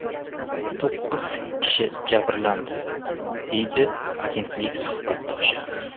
To‘qqiz kishi jabrlandi”, deydi agentlik suhbatdoshi.